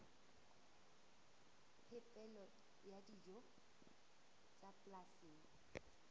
phepelo ya dijo tsa polasing